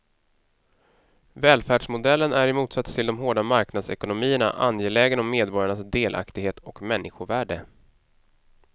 Välfärdsmodellen är i motsats till de hårda marknadsekonomierna angelägen om medborgarnas delaktighet och människovärde.